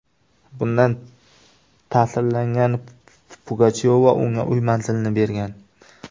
Bundan ta’sirlangan Pugachyova unga uy manzilini bergan.